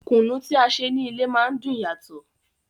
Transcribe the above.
Kùnú tí a ṣe ní ilé má ń dùn yàtò.